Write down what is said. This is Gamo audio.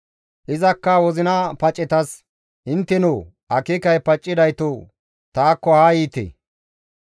Izakka wozina pacetas, «Inttenoo! akeekay paccidayto taakko haa yiite.